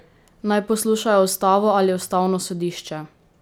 Naj poslušajo ustavo ali ustavno sodišče?